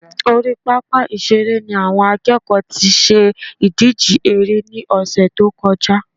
Orí pápá ìṣeré ni àwọn akẹ́kọ̀ọ́ tí ṣe ìdíje eré ní ọ̀sẹ̀ tó kọjá